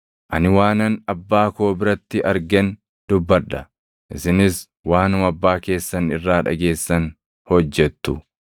Ani waanan Abbaa koo biratti argen dubbadha; isinis waanuma abbaa keessan irraa dhageessan hojjettu.”